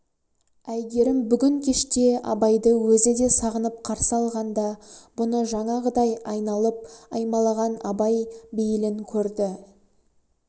әйгерім бүгін кеште абайды өзі де сағынып қарсы алғанда бұны жаңағыдай айналып аймалаған абай бейілін көрді